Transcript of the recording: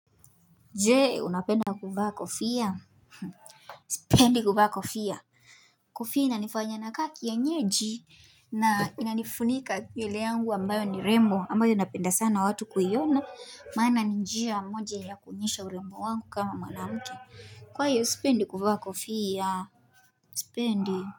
Je, unapenda kufaa kofia? Sipendi kuvaa kofia. Kofia inanifanya nakaa kianyeji. Na inanifunika akili yangu ambayo ni rembo ambayo napenda sana watu kuiona. Maana ni njia moja ya kuonyesha urembo wangu kama mwanamke. Kwa hiyo, sipendi kuvaa kofia, sipendi.